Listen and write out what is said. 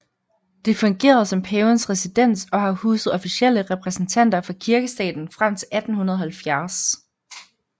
Det fungerede som Pavens residens og har huset officielle repræsentanter for Kirkestaten frem til 1870